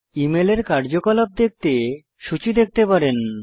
ইমেলের কার্যকলাপ দেখতে সূচী দেখতে পারেন